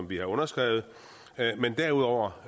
vi har underskrevet men derudover